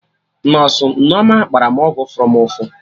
Nọsụ Nneoma gbara mụ ọgwụ fụrụ mụ ụfụ